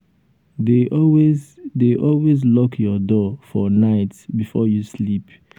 dey always dey always lock your door for night before you sleep. um